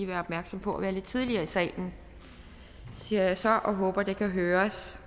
være opmærksom på at være lidt tidligere i salen siger jeg så og håber det kan høres